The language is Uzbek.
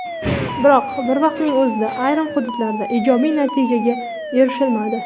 Biroq bir vaqtning o‘zida ayrim hududlarda ijobiy natijaga erishilmadi.